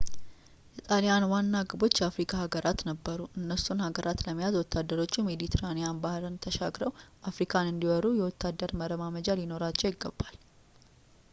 የጣሊያን ዋና ግቦች የአፍሪካ ሃጋራት ነበሩ እነሱን ሃገራት ለመያዝ ወታደሮቹ ሜዲትራኒያን ባህርን ተሻግረው አፍሪካን እንዲወሩ የወታደር መረማመጃ ሊኖራቸው ይገባል